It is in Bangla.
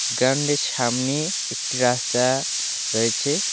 গ্রাউন্ডের সামনে একটি রাস্তা রয়েছে।